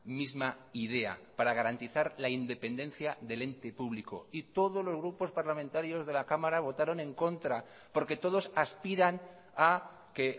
misma idea para garantizar la independencia del ente público y todos los grupos parlamentarios de la cámara votaron en contra porque todos aspiran a que